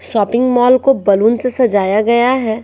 Shopping mall को balloon से सजाया गया है।